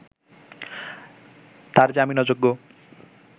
তাঁর জামিন অযোগ্য